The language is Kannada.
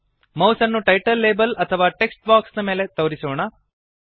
ಮೌಸ್ ಅನ್ನು ಟೈಟಲ್ ಲೇಬಲ್ ಅಥವಾ ಟೆಕ್ಸ್ಟ್ ಬಾಕ್ಸ್ ನ ಮೇಲೆ ತೋರಿಸೋಣ